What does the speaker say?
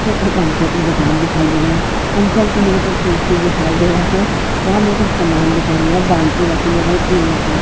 मुझे पंचर की दुकान दिखाई दे रहा है पंचर के मेरे को कुल्फी दिखाई दे रहा है वहाँ मेरे को समान दिखाई दे रहा है बाल्टी रखने गई ट्यूब रखा है --